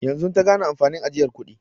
Yanzu ta gane amfanin ajiyar kudi.